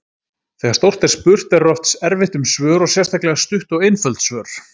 Þegar stórt er spurt verður oft erfitt um svör og sérstaklega stutt og einföld svör.